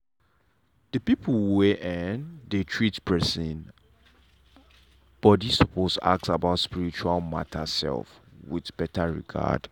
the people wey um dey treat person body suppose ask about spiritual matter um with better regard.